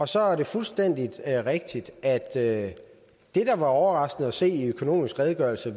så er det fuldstændig rigtigt at det der var overraskende at se i økonomisk redegørelse